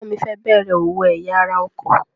Ẹ̀gbọ́n mi fẹ́ bẹ̀rẹ̀ òwò ẹ̀ya ara ọkọ̀.